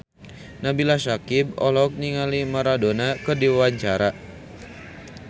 Nabila Syakieb olohok ningali Maradona keur diwawancara